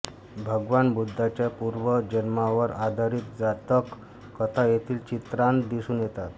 भगवान बुद्धांच्या पूर्वजन्मावर आधारित जातक कथा येथील चित्रांत दिसून येतात